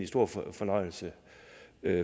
stor fornøjelse